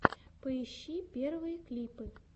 поищи первые клипы